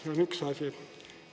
See on üks asi.